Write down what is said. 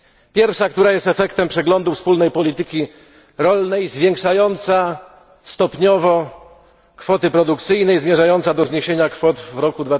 Pierwsza, która jest efektem przeglądu wspólnej polityki rolnej, zwiększająca stopniowo kwoty produkcyjne i zmierzająca do zniesienia kwot w roku